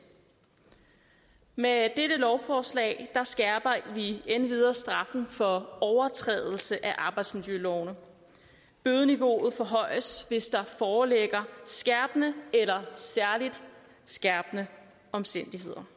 med dette lovforslag skærper vi endvidere straffen for overtrædelse af arbejdsmiljølovene bødeniveauet forhøjes hvis der foreligger skærpende eller særligt skærpende omstændigheder